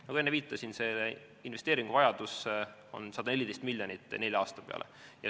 Nagu ma enne viitasin, investeeringuvajadus on 114 miljonit nelja aasta peale.